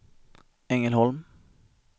Ängelholm